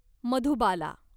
Madhubala